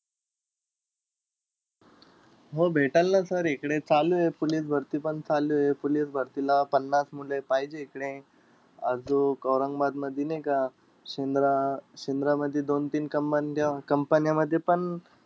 हो भेटंल ना sir इकडे चालुय, पोलीस भरतीपण चालुय. police भरतीला पन्नास मुलं पाहिजेय इकडे. आजूक, औरंगाबादमध्ये नाई का शेंद्रा आह शेंद्रामध्ये दोन-तीन कंबंद्या companies मध्येपण